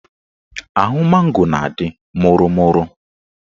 Ahụ mango na-adị mụrụ mụrụ